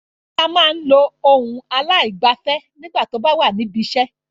Bọ́lá máa ń lo ohùn aláìgbẹ̀fẹ̀ nígbà tó bá wà ní ibiṣẹ́.